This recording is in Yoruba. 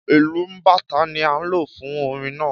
Ìlù bàtá ni a ń lo fún orin náà